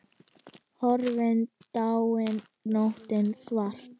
Horfin, dáin nóttin svarta.